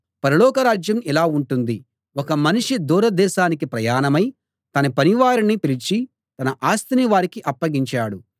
పరలోక రాజ్యం ఇలా ఉంటుంది ఒక మనిషి దూరదేశానికి ప్రయాణమై తన పనివారిని పిలిచి తన ఆస్తిని వారికి అప్పగించాడు